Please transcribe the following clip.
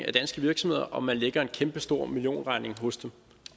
de danske virksomheder om man lægger en kæmpestor millionregning hos dem